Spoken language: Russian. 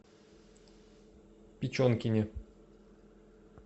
печенкине